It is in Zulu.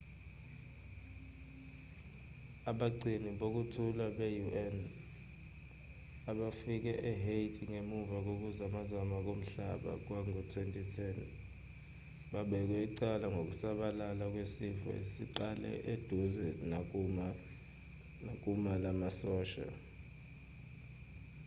abagcini bokuthula be-un abafike ehaiti ngemva kokuzamazama komhlaba kwango-2010 babekwa icala ngokusabalala kwesifo esiqale eduze nakumu lamasosha